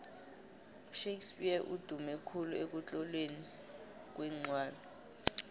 ushakes spear udumekhulu ekutlolweni kwencwani